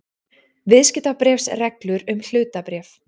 Viðskiptabréfsreglur um hlutabréf.